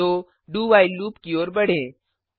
तो do while loop की ओर बढ़ें